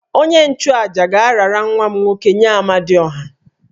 Onye-nchu-àjà ga-arara nwa m nwoke nye Amadiọha